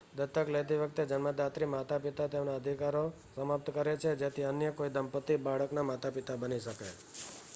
દત્તક લેતી વખતે જન્મદાત્રી માતા-પિતા તેમના અધિકારો સમાપ્ત કરે છે જેથી અન્ય કોઈ દંપતી બાળકના માતા-પિતા બની શકે